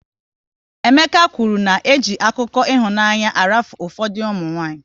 Emeka kwụrụ na eji akụkọ ịhụnanya arafu ụfọdụ ụmụnwanyị